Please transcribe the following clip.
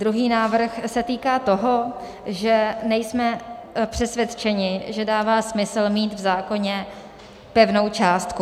Druhý návrh se týká toho, že nejsme přesvědčeni, že dává smysl mít v zákoně pevnou částku.